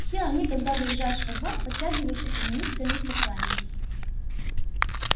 все они когда въезжаешь во двор подтягиваются и низко-низко кланяются